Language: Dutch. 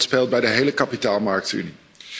Dat speelt bij de hele kapitaalmarktenunie.